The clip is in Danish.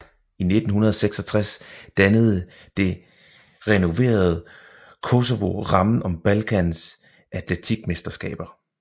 I 1966 dannede det renoverede Koševo rammen om Balkans atletikmesterskaber